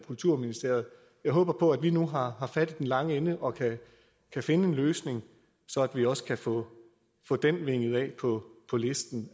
kulturministeriet jeg håber på at vi nu har fat i den lange ende og kan finde en løsning så vi også kan få den vinget af på listen